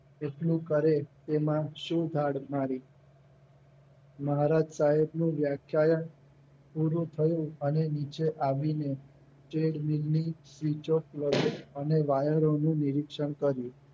એટલું કરે એમાં શું ધાડ મારી મહારાજ સાહેબનું વ્યાખ્યાયન પૂરું થયું અને બીજે આવીને ચેડમીનની switch off lever અને વાયરો નું નિરીક્ષણ કર્યું